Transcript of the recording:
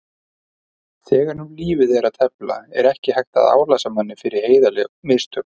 Þegar um lífið er að tefla er ekki hægt að álasa manni fyrir heiðarleg mistök.